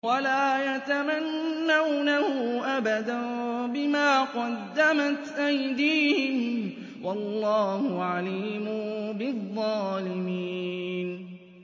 وَلَا يَتَمَنَّوْنَهُ أَبَدًا بِمَا قَدَّمَتْ أَيْدِيهِمْ ۚ وَاللَّهُ عَلِيمٌ بِالظَّالِمِينَ